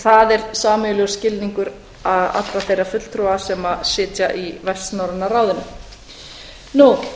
það er sameiginlegur skilningur allra þeirra fulltrúa sem sitja í vestnorræna ráðinu eins og